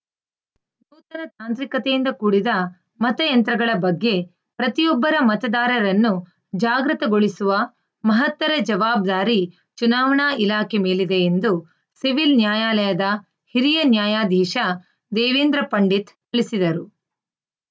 ನೂತನ ತಾಂತ್ರಿಕತೆಯಿಂದ ಕೂಡಿದ ಮತಯಂತ್ರಗಳ ಬಗ್ಗೆ ಪ್ರತಿಯೊಬ್ಬರ ಮತದಾರರನ್ನು ಜಾಗೃತಗೊಳಿಸುವ ಮಹತ್ತರ ಜವಾಬ್ದಾರಿ ಚುನಾವಣಾ ಇಲಾಖೆ ಮೇಲಿದೆ ಎಂದು ಸಿವಿಲ್‌ ನ್ಯಾಯಾಲಯದ ಹಿರಿಯ ನ್ಯಾಯಾಧೀಶ ದೇವೇಂದ್ರ ಪಂಡಿತ್‌ ತಿಳಿಸಿದರು